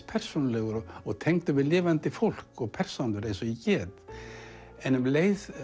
persónulegur og tengdur við lifandi fólk og persónur eins og ég get en um leið